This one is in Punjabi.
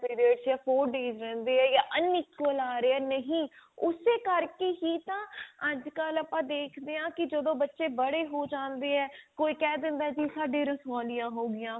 ਵਿੱਚ ਜਾਂ four days ਰਿਹੰਦੇ ਹੈ ਜਾਂ unequal ਆ ਰਹੇ ਹੈ ਨਹੀਂ ਉਸੇ ਕਰਕੇ ਹੀ ਤਾਂ ਅੱਜ ਕੱਲ ਆਪਾਂ ਦੇਖ ਦੇ ਹਾਂ ਕੀ ਜਦੋਂ ਬਚੇ ਬੜੇ ਹੋ ਜਾਂਦੇ ਆ ਕੋਈ ਕਿਹ ਦਿੰਦਾ ਜੀ ਸਾਡੇ ਰਸੋਲੀਆਂ ਹੋ ਗਈਆਂ